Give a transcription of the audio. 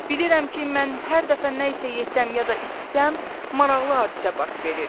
Bilirəm ki, mən hər dəfə nə isə yesəm ya da içsəm, maraqlı hadisə baş verir.